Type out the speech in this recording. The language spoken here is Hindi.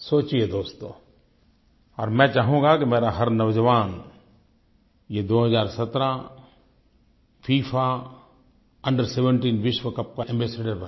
सोचिए दोस्तो और मैं चाहूँगा कि मेरा हर नौजवान ये 2017 फिफा अंडर 17 विश्व कप का एम्बासाडोर बने